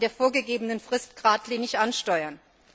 in der vorgegebenen Frist gradlinig ansteuern.